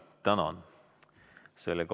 Tänan!